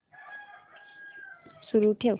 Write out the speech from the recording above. सुरू ठेव